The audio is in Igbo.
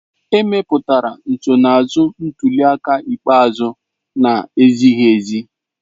Emepụtara nsonaazụ ntuli aka ikpeazụ na-ezighiezi.